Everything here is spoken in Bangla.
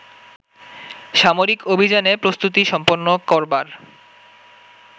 সামরিক অভিযানে প্রস্তুতি সম্পন্ন করবার